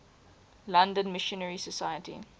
london missionary society